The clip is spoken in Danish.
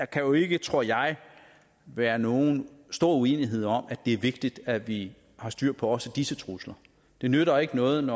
kan jo ikke tror jeg være nogen stor uenighed om at det er vigtigt at vi har styr på også disse trusler det nytter ikke noget